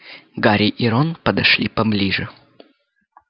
гарри и рон подошли поближе